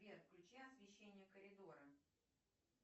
сбер включи освещение коридора